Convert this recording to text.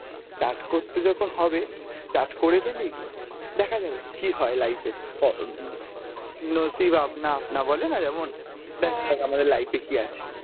start করতে যখন হবে, start করে ফেলি, দেখা যাবে কি হয় life এ উম Hindi বলেনা যেমন, দেখা যাক আমাদের life এ কি আছে.